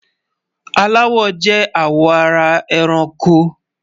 Àláwọ̀ jẹ́ àwọ̀ ara èrànkò.